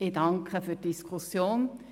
Ich danke für diese Diskussion.